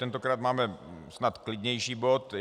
Tentokrát máme snad klidnější bod.